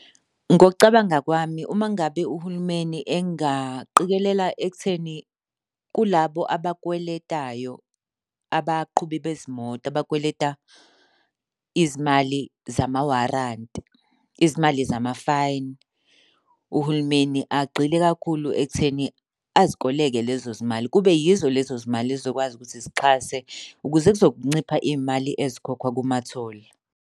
Ngokucabanga kwami, uma ngabe uhulumeni engaqikelela ekutheni kulabo abakweletayo abaqhubi bezimoto abakweleta izimali zamawaranti, izimali zama-fine. Uhulumeni agxile kakhulu ekutheni azikoleke lezo zimali kube yizo lezo zimali ezizokwazi ukuthi zixhase ukuze kuzoncipha iy'mali ezikhokhwa kuma-toll.